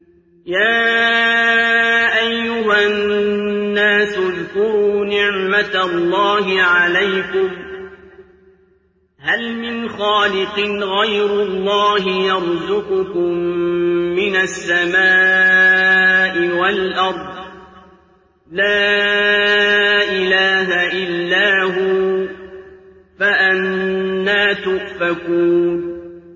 يَا أَيُّهَا النَّاسُ اذْكُرُوا نِعْمَتَ اللَّهِ عَلَيْكُمْ ۚ هَلْ مِنْ خَالِقٍ غَيْرُ اللَّهِ يَرْزُقُكُم مِّنَ السَّمَاءِ وَالْأَرْضِ ۚ لَا إِلَٰهَ إِلَّا هُوَ ۖ فَأَنَّىٰ تُؤْفَكُونَ